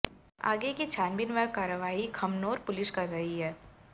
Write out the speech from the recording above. आगे की छानबीन व कारवाही खमनोर पुलिस कर रही है